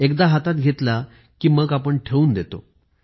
एकदा हातात घेतला कि मग ठेवून देतो